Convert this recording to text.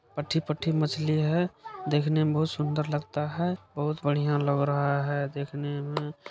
पट्ठी पठ्ठी मछली है देखने मे बहुत सुंदर लगता है बहुत बढ़िया लग रहा है देखने में---